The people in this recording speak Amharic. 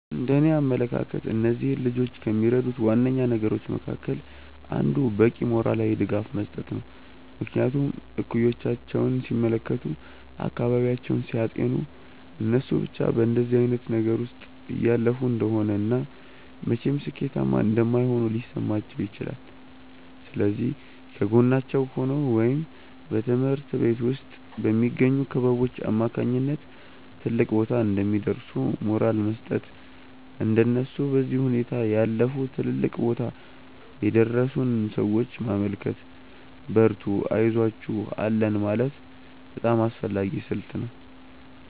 እንደእኔ አመለካከት እነዚህን ልጆች ከሚረዱት ዋነኛ ነገሮች መካከል አንዱ በቂ ሞራላዊ ድጋፍ መስጠት ነው። ምክንያቱም እኩዮቻቸውን ሲመለከቱ፤ አካባቢያቸውን ሲያጤኑ እነሱ ብቻ በእንደዚህ አይነት ነገር ውስጥ እያለፉ እንደሆነ እና መቼም ሥኬታማ እንደማይሆኑ ሊሰማቸው ይችላል። ስለዚህ ከጎናቸው ሆኖ ወይም በትምሀርት ቤት ውስጥ በሚገኙ ክበቦች አማካኝነት ትልቅ ቦታ እንደሚደርሱ ሞራል መስጠት፤ እንደነሱ በዚህ ሁኔታ ያለፉ ትልልቅ ቦታ የደረሱን ሰዎች ማመልከት፤ በርቱ አይዞአችሁ አለን ማለት በጣም አስፈላጊ ስልት ነው።